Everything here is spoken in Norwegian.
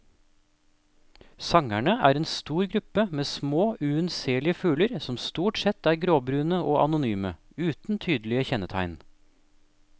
Sangerne er en stor gruppe med små, unnselige fugler som stort sett er gråbrune og anonyme, uten tydelige kjennetegn.